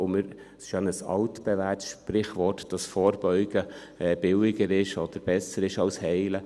Es ist ja ein altbewährtes Sprichwort, dass vorbeugen billiger oder besser ist als heilen.